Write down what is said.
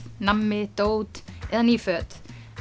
nammi dót eða ný föt